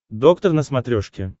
доктор на смотрешке